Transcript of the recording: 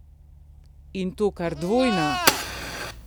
In to kar dvojna!